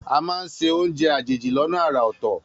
A máa ń sè oúnjẹ àjèjì lọ́nà àrà ọ̀tọ̀.